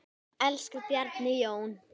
Elsku Bjarni Jón.